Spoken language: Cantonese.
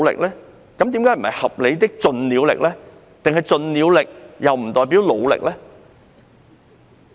為何不是"合理的盡了力"，難道盡了力不代表努力？